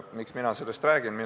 Miks mina sellest räägin?